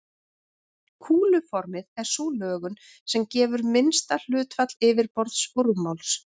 Kúluformið er sú lögun sem gefur minnsta hlutfall yfirborðs og rúmmáls.